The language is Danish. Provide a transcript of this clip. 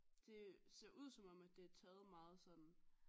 Det ser ud som om det er taget meget sådan